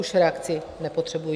Už reakci nepotřebuji.